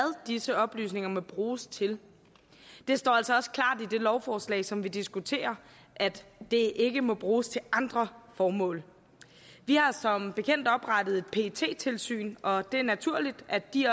disse oplysninger må bruges til det står altså også klart i det lovforslag som vi diskuterer at det ikke må bruges til andre formål vi har som bekendt oprettet et pet tilsyn og det er naturligt at de